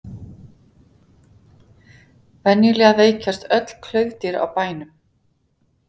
venjulega veikjast öll klaufdýr á bænum